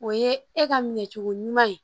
O ye e ka minɛ cogo ɲuman ye